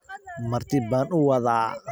marti baan u wadaa